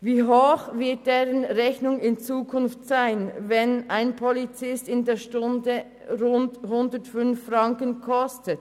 Wie hoch wird deren Rechnung in Zukunft sein, wenn ein Polizist pro Stunde rund 105 Franken kostet?